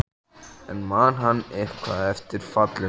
En ég afþakkaði það, skrifar Gerður heim.